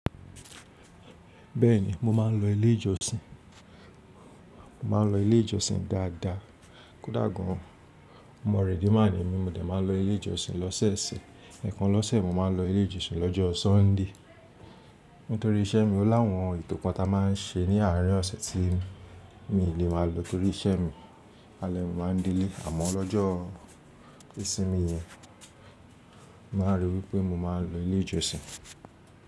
Bẹ́ẹ̀ni, mo máa ń lọ ilé ìjọsìn. Mo máa ń lọ ilé ìjọsìn dáadáa. Kódà gan an, omo redeemer ní mí, mo dé máa n lọ ilé ìjọsìn lọ́sẹ̀ẹ̀sẹ̀. Ẹ̀ẹ̀kan lọ́sẹ̀, mo máa ń lọ ilé ìjọsìn lọ́jọ́ Sunday. Nítorí iṣẹ́ mi, ó láwọn ètò kan ta máa ń ṣe ní àárín ọ̀sẹ̀ tí mi lè máa lọ torí iṣẹ́ mi. Àlẹ́ẹ̀ ni máa ń delé, àmọ́ lọ́jọ́ ìsinmi yẹn, má rí wípé mo máa lọ ilé ìjọsìn.